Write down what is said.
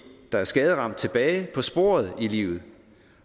der er skaderamt tilbage på sporet i livet